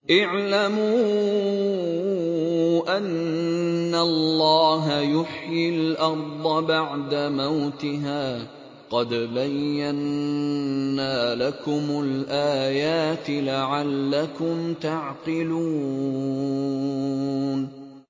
اعْلَمُوا أَنَّ اللَّهَ يُحْيِي الْأَرْضَ بَعْدَ مَوْتِهَا ۚ قَدْ بَيَّنَّا لَكُمُ الْآيَاتِ لَعَلَّكُمْ تَعْقِلُونَ